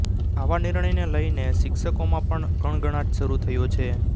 આવા નિર્ણયને લઇને શિક્ષકોમાં પણ ગણગણાટ શરૂ થયો છે